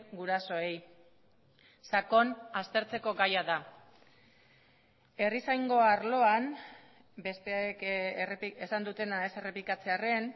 gurasoei sakon aztertzeko gaia da herrizaingo arloan besteek esan dutena ez errepikatzearren